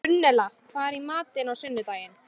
Gunnella, hvað er í matinn á sunnudaginn?